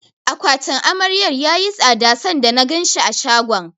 Akwatin Amaryar yayi tsada sanda na ganshi a shagon.